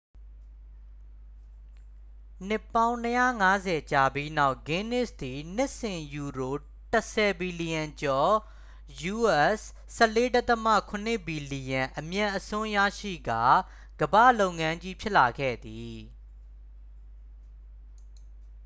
နှစ်ပေါင်း ၂၅၀ ကြာပြီးနောက် ဂင်းနစ်သည် နှစ်စဉ်ယူရို ၁၀ ဘီလျံကျော် us$၁၄.၇ ဘီလျံ အမြတ်အစွန်းရရှိကာ ကမ္ဘာလုပ်ငန်းကြီး ဖြစ်လာခဲ့သည်။